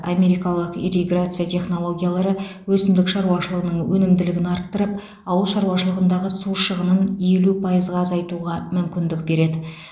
америкалық ирриграция технологиялары өсімдік шаруашылығының өнімділігін арттырып ауыл шаруашылығындағы су шығынын елу пайызға азайтуға мүмкіндік береді